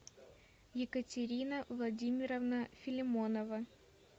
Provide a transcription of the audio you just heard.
екатерина владимировна филимонова